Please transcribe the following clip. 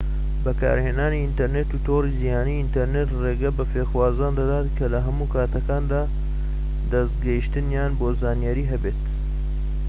بەکارهێنانی ئینتەرنێت و تۆڕی جیهانی ئینتەرنێت ڕێگە بە فێرخوازان دەدات کە لە هەموو کاتەکاندا دەستگەیشتنیان بۆ زانیاری هەبێت